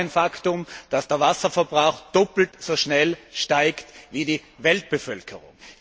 Es ist auch ein Faktum, dass der Wasserverbrauch doppelt so schnell steigt wie die Weltbevölkerung.